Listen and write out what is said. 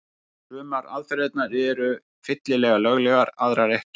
Sumar aðferðirnar eru fyllilega löglegar, aðrar ekki.